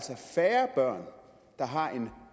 børn der har en